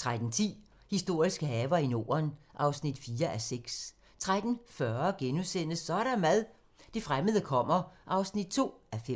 13:10: Historiske haver i Norden (4:6) 13:40: Så er der mad - det fremmede kommer (2:5)*